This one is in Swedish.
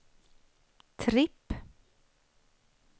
tripp